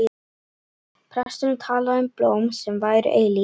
Presturinn talaði um blóm sem væru eilíf.